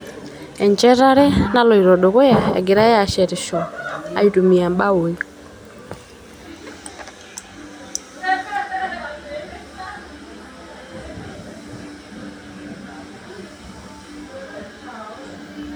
enchetare naloito dukuya egirae ashetisho aitumia imbaoi